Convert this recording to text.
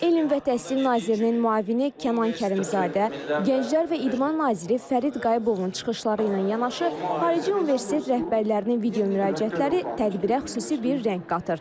Elm və təhsil nazirinin müavini Kənan Kərimzadə, Gənclər və İdman naziri Fərid Qayıbovun çıxışları ilə yanaşı, xarici universitet rəhbərlərinin video müraciətləri tədbirə xüsusi bir rəng qatır.